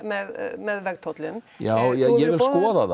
með vegtollum já ég vil skoða það